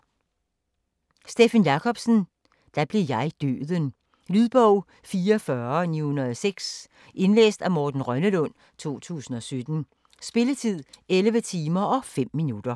Jacobsen, Steffen: Da blev jeg Døden Lydbog 44906 Indlæst af Morten Rønnelund, 2017. Spilletid: 11 timer, 5 minutter.